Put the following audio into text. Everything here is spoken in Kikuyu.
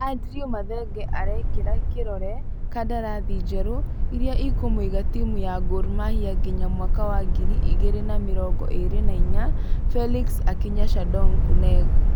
Andrew mathenge araekera kĩrore kadarathi njerũ irĩa ĩkũmũiga timũ ya Gor Mahia nginya mwaka wa ngĩri igĩrĩ na mĩrongo ĩrĩ na inya, felix akinya shandong kuneng.